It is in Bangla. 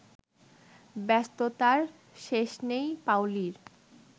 ব্যস্ততার শেষ নেই পাওলীর